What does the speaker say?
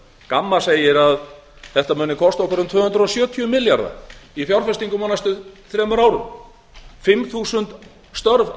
gamma segir að þetta muni kosta okkur um tvö hundruð sjötíu milljarða í fjárfestingum á næstu þremur árum fimm þúsund störf